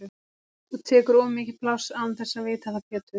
Þú tekur of mikið pláss án þess að vita það Pétur!